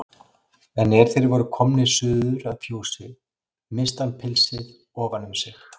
En er þeir voru komnir suður að fjósi missti hann pilsið ofan um sig.